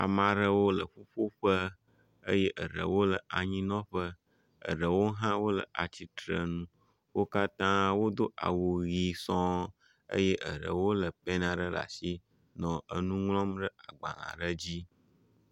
Ame aɖewo le ƒoƒuƒe eye aɖewo le anyinɔƒe, aɖewo hã le atsitre ŋu. Wo katã wodo awu ʋi sɔɔ eye aɖewo lé pɛni aɖe ɖe asi nɔ enu ŋlɔm ɖe agbalẽ aɖe dzi